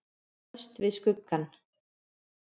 Föst við skuggann.